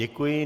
Děkuji.